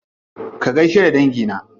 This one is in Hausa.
Ka gaishe da dangi na.